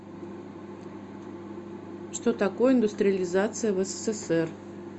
что такое индустриализация в ссср